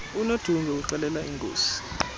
unodunge uxelela inkosi